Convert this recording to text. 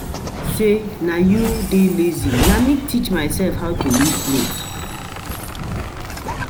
The thing be say you dey lazy, na me teach myself how to weave cloth